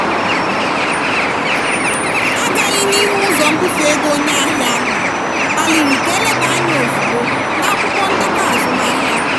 agaghị n'ihu ụzọ mbufe ego onye ahịa ahụ kpaliri ka a leba anya ozugbo n'akwụkwọ ndekọ azụmahịa.